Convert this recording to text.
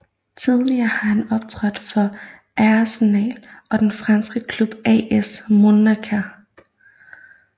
Tidligere har han optrådt for Arsenal og den franske klub AS Monaco